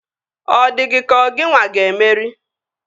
Ọ dị gị ka ọ gịnwa ga-emeri?